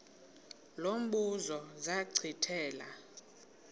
lo mbuzo zachithela